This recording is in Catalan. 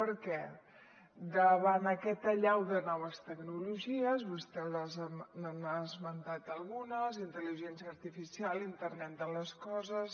per què davant aquesta allau de noves tecnologies vostè n’ha esmentat algunes intel·ligència artificial internet de les coses